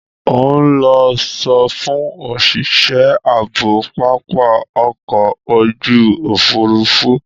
Ó ń lọ sọfún òṣìṣẹ́ ààbò pápá ọkọ̀ ojú òfuurufú.